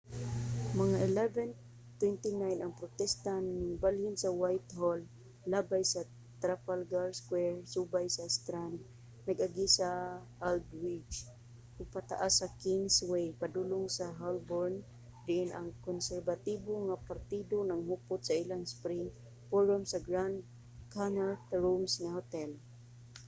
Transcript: mga 11:29 ang protesta ningbalhin sa whitehall labay sa trafalgar square subay sa strand nag-agi sa aldwych ug pataas sa kingsway padulong sa holborn diin ang konserbatibo nga partido naghupot sa ilang spring forum sa grand connaught rooms nga hotel